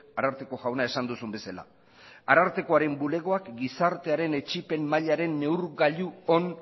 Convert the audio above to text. ararteko jauna esan duzun bezala arartekoaren bulegoak gizartearen etsipen mailaren neurgailu on